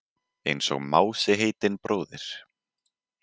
Einsog Mási heitinn bróðir.